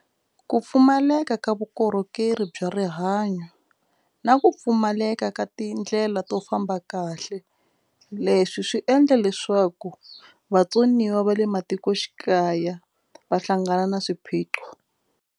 Ku pfumaleka ka vukorhokeri bya rihanyo na ku pfumaleka ka tindlela to famba kahle leswi swi endla leswaku vatsoniwa va le matikoxikaya va hlangana na swiphiqo.